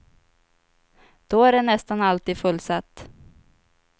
Då är det nästan alltid fullsatt.